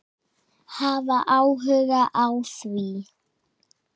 Hafa áhuga á því.